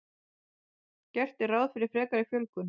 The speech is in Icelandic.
Gert er ráð fyrir frekari fjölgun